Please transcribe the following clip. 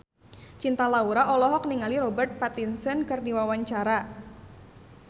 Cinta Laura olohok ningali Robert Pattinson keur diwawancara